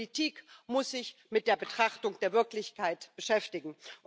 Politik muss sich mit der Betrachtung der Wirklichkeit beschäftigen.